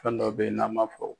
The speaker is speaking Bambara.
Fɛn dɔ beyi n'an m'a fɔ.